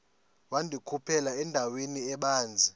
wandikhuphela endaweni ebanzi